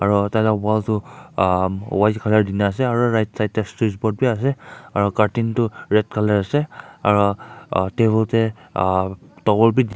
aru tarte wall colour kori na ase aru right side te strike pot bhi ase aru cardting tu red colour ase aru table te togor bhi --